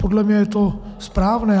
Podle mě je to správné.